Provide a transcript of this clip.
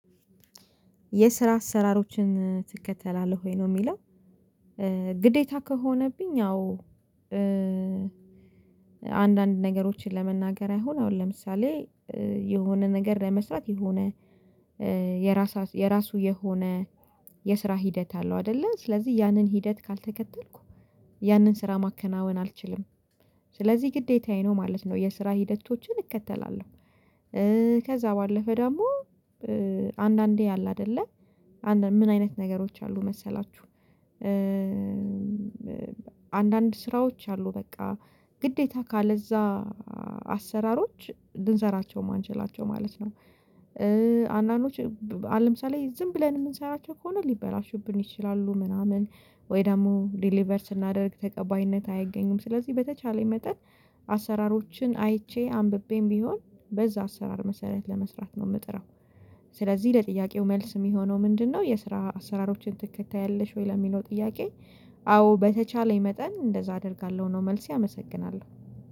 የስራ አሰራሮችን ትከተላለህ ወይ ነው የሚለው ግዴታ ከሆነብኝ አዎ። አሁን አንዳንድ ነገሮችን ለመናገር አሁን አሁን ለምሳሌ የሆነ ነገር ለመስራት የሆነ የራሱ የራሱ የሆነ የስራ ሂደት አለው አይደለ ስለዚህ ያንን ሂደት ካልተከተልኩ ያንን ስራ ማከናወን አልችልም። ስለዚህ ግዴታዬ ነው ማለት ነው የስራ ሂደቶችን እከተላለሁ። ከዛ ባለፈ ደግሞ አንዳንዴ አለ አይደለ ምን አይነት ነገሮች አሉ መሰላችሁ? አንዳንድ ስራዎች አሉ በቃ ግዴታ ካለዛ አሰራሮች ልንሰራቸው ማንችላቸው ማለት ነው። አንዳንዶች አሁን ለምሳሌ ዝም ብለን የምንሰራቸው ከሆነ ሊበላሹብን ይችላሉ ምናምን ወይ ደግሞ ዴሊቨር ስናደርግ ተቀባይነት አያገኙም። ስለዚህ በተቻለኝ መጠን አሰራሮችን አይቼ አንብቤም ቢሆን በዛ አሰራር መሰረት ለመስራት ነው የምጥረው። ስለዚህ ለጥያቄው መልስ የሚሆነው ምንድነው? የስራ አሰራሮችን ትከታያለሽ ወይ ለሚለው ጥያቄ? አዎ በተቻለኝ መጠን እንደዛ አደርጋለሁ ነው መልሴ አመሰግናለሁ።